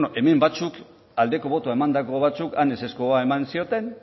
hemen batzuk aldeko botoa emandako batzuk han ezezkoa eman zioten